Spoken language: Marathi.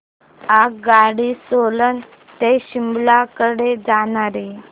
आगगाडी सोलन ते शिमला कडे जाणारी